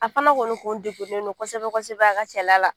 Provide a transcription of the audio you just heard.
A fana kɔni kun degunnen don kosɛbɛ kosɛbɛ a ka cɛla la